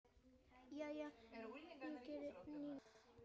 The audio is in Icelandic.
Já, ég geri það núna.